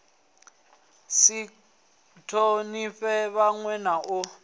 si thonifhe vhanwe na u